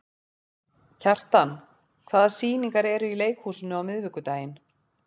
Kjartan, hvaða sýningar eru í leikhúsinu á miðvikudaginn?